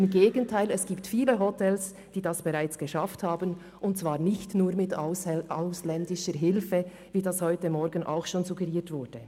Im Gegenteil: Es gibt viele Hotels, die das bereits geschafft haben und zwar nicht nur mit ausländischer Hilfe, wie das heute Morgen auch schon suggeriert wurde.